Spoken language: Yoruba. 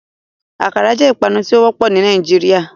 Akara jẹ ipanu ti o wọpọ ni Nigeria.